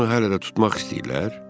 Məgər onu hələ də tutmaq istəyirlər?